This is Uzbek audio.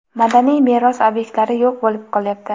madaniy meros ob’ektlari yo‘q bo‘lib qolyapti.